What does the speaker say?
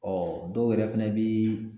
dɔw yɛrɛ fɛnɛ bi